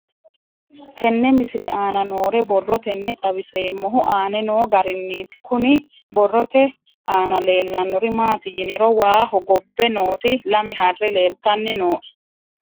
Tenne misile aana noore borroteni xawiseemohu aane noo gariniiti. Kunni borrote aana leelanori maati yiniro waa hoggobbe nooti lame harre leeltanni nooe.